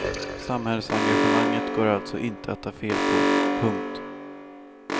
Samhällsengagemanget går alltså inte att ta fel på. punkt